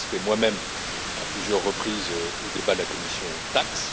J'ai participé moi même, à plusieurs reprises, aux débats de la commission TAXE.